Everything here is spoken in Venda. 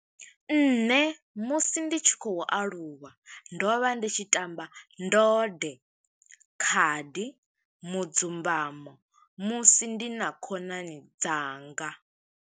Nṋe musi ndi tshi khou aluwa, ndo vha ndi tshi tamba ndode, khadi, mudzumbamo, musi ndi na khonani dzanga.